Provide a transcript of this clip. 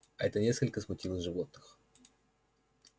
это несколько смутило животных